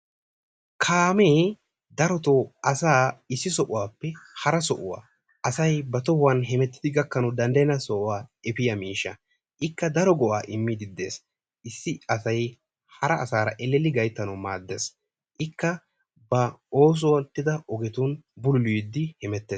Kaamee darotoo asaa issi sohuwappe hara sohuwa asayi ba tohuwan hemettidi gakkanawu danddayenna sohuwa efiya miishsha ikka daro go"aa immiiddi de"es. Issi asayi hara asaara ellelli gayttanawu maaddes. Ikka bawu oosettida ogetun bululiiddi hemettes.